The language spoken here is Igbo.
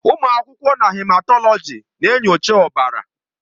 Ụmụ akwụkwọ na Hematọlọji na-enyocha ọbara.